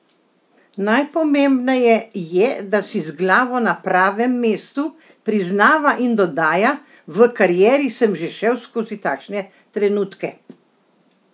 Najpomembneje je, da si z glavo na pravem mestu,' priznava in dodaja: 'V karieri sem že šel skozi takšne trenutke.